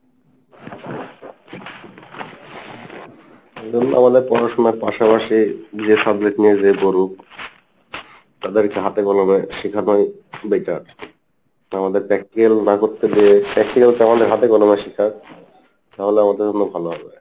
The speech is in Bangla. ধরুন আমাদের পড়াশোনার পাশাপাশি যে subject নিয়ে যে করুক তাদের কে হাতে কলমে শিখা টাই বেকার, আমাদের practical না করতে দিয়ে practical তো আমাদের হাতে কলমে তাহলে আমাদের জন্য ভালো হবে